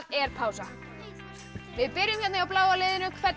er pása við byrjum hjá bláa liðinu hvernig